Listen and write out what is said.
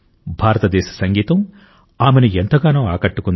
భారతదేశ సంగీతం ఆమెను ఎంతగానో ఆకట్టుకుంది